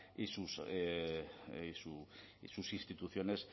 y sus instituciones